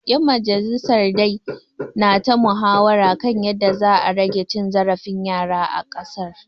‘Yan majalisar dai na ta muhawara kan yadda za a rage cin zarafin yara a ƙasar.